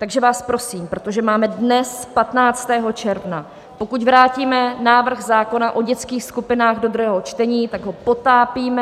Takže vás prosím, protože máme dnes 15. června, pokud vrátíme návrh zákona o dětských skupinách do druhého čtení, tak ho potápíme.